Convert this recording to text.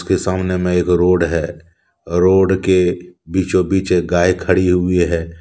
इसके सामने मैं एक रोड है और रोड के बीचो बीच एक गाय खड़ी हुई है।